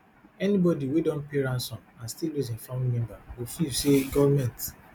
anybodi wey don pay ransom and still lose im family member go feel say goment